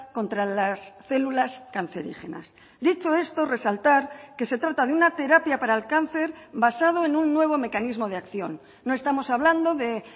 contra las células cancerígenas dicho esto resaltar que se trata de una terapia para el cáncer basado en un nuevo mecanismo de acción no estamos hablando de